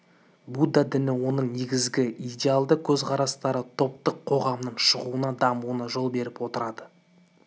будда діні оның негізгі идеалды қөзқарастары таптық қоғамның шығуына дамуына жол беріп отырды